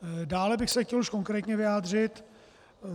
Dále bych se chtěl už konkrétně vyjádřit.